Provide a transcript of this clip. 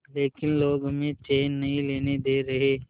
लेकिन लोग हमें चैन नहीं लेने दे रहे